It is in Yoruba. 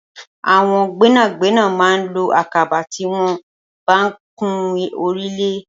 Awọn gbẹnágbẹná mà n ló àkàbà tiwọn bá n kán órúlé